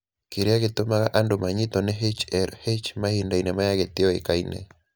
Kĩrĩa gĩtũmaga andũ manyitwo nĩ HLH mahinda-inĩ maya gĩtiũĩkaine.